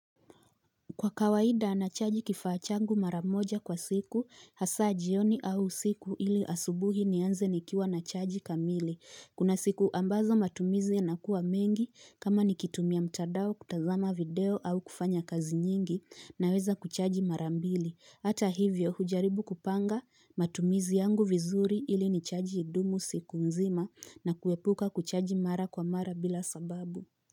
Kwa kawaida nachaji kifaa changu maramoja kwa siku hasa jioni au usiku ili asubuhi nianze nikiwa nachaji kamili Kuna siku ambazo matumizi yanakua mengi kama nikitumia mtandao kutazama video au kufanya kazi nyingi naweza kuchaji marambili Hata hivyo hujaribu kupanga matumizi yangu vizuri ili nichaji idumu siku mzima na kuepuka kuchaji mara kwa mara bila sababu.